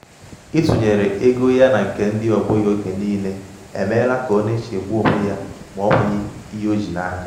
ịtụnyere ego ya na nke um ndị ọgbọ ya oge niile emeela ka ọ na-echegbu onwe ya ma o nweghị ihe o ji aka.